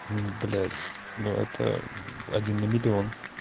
ну блять ну это один на миллион